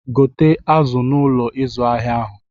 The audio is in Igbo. Gote azụ n'Ụlọ ịzụ ahịa ahụ.!